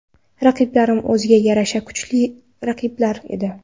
Raqiblarim o‘ziga yarasha kuchli raqiblar edi.